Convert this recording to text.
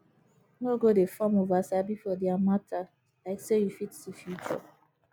no go dey form oversabi for dia mata like say yu fit see future